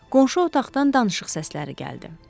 Qonşu otaqdan danışıq səsləri gəldi.